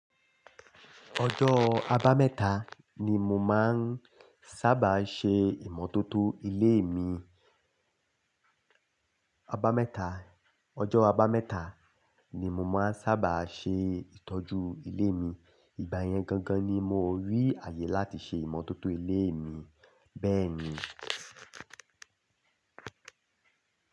Ọjọ́ abámẹ́ta ni mo máa ń sábà ṣe ìmọ́tótó ilé mi. Abámẹ́ta, ọjọ́ abámẹ́ta ni mo máa ń sábà ṣe ìtọ́jú ilé mi. Ìgbà yẹn gangan ni mo rí àyè láti ṣe ìmọ́tótó ilé mi bẹ́ẹ̀ ni.